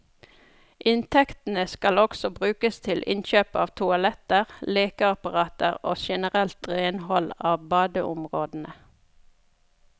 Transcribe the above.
Inntektene skal også brukes til innkjøp av toaletter, lekeapparater og generelt renhold av badeområdene.